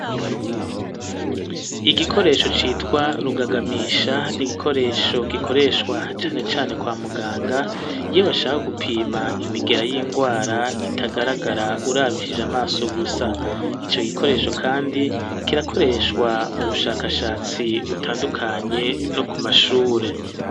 Igikoresho citwa rugagamisha n'igikoresho gikoreshwa cane cane kwa muganga iyo bashaka gupima imigera y'indwara itagaragara urabishije amaso gusa ,ico gikoresho kandi kirakoreshwa mu bushakashatsi butandukanye no ku mashure.